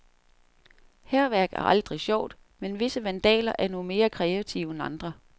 Hærværk er aldrig sjovt, men visse vandaler er nu mere kreative end andre.